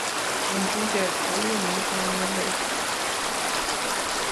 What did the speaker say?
En bicheet kou niton ng'alek